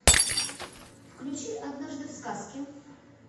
включи однажды в сказке